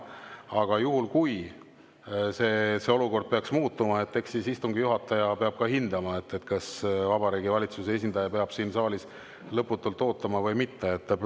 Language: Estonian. Aga juhul, kui see olukord peaks muutuma, eks siis istungi juhataja peab hindama, kas Vabariigi Valitsuse esindaja peab siin saalis lõputult ootama või mitte.